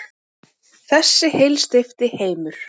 Þessi heilsteypti heimur.